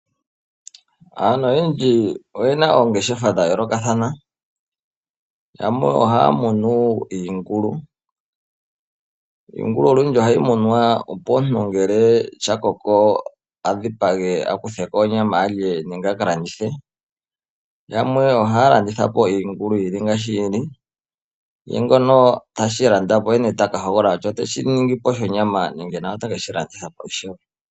Aantu oyendji oye na oongeshefa dha yoolokathana, yamwe ohaya munu iingulu. Iingulu ohayi munwa, opo ngele sha koko e ta dhipage e ta kutha ko onyama a lye, nenge yi landithwe. Aantu yamwe ihaya landitha pi iingulu yi li ngaashi yi li. Ngoka teshi landa po oye ta hogolola kutya oteshi ningi ngiini.